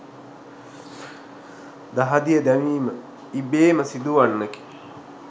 දහදිය දැමීම ඉබේම සිදුවන්නකි.